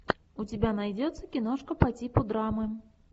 у тебя найдется киношка по типу драмы